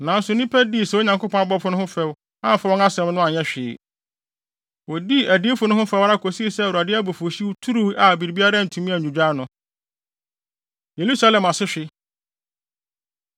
Nanso nnipa no dii saa Onyankopɔn abɔfo no ho fɛw, amfa wɔn nsɛm no anyɛ hwee. Wodii adiyifo no ho fɛw ara kosii sɛ Awurade abufuwhyew turuwii a biribiara antumi annwudwo ano. Yerusalem Asehwe